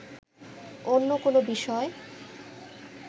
অন্য কোন বিষয়